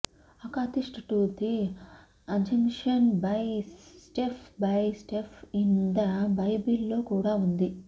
akathist to the assumption by step by step in the బైబిల్లో కూడా ఉంది